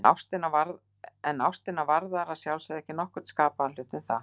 En ástina varðar að sjálfsögðu ekki nokkurn skapaðan hlut um það.